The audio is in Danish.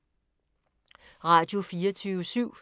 Radio24syv